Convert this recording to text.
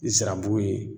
I sirabu ye